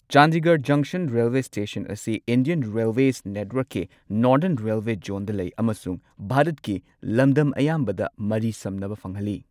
Chandigarh junction railway station ꯑꯁꯤ Indian railways ꯅꯦꯠꯋꯥꯔꯛꯀꯤ northern railway ꯖꯣꯟꯗ ꯂꯩ ꯑꯃꯁꯨꯡ ꯚꯥꯔꯠꯀꯤ ꯂꯝꯗꯝ ꯑꯌꯥꯝꯕꯗ ꯃꯔꯤ ꯁꯝꯅꯕ ꯐꯪꯍꯜꯂꯤ꯫